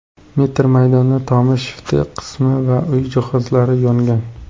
metr maydonda tomi, shift qismi va uy jihozlari yongan.